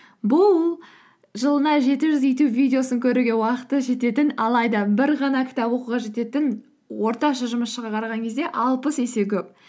бұл жылына жеті жүз ютюб видеосын көруге уақыты жететін алайда бір ғана кітап оқуға жететін орташа жұмысшыға қараған кезде алпыс есе көп